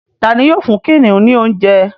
Tá ní yóò fún kìnìún ní oúnjẹ?